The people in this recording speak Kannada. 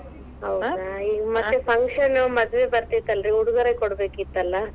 ಹೌದಾ ಇಗ ಮತ್ತ, function ಮದುವೆ ಬತೆ೯ತರ್ಲಿ ಉಡುಗೊರೆ ಕೊಡಬೇಕಿತ್ತಲ್ಲಾ.